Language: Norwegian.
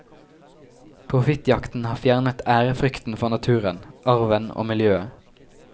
Profittjakten har fjernet ærefrykten for naturen, arven og miljøet.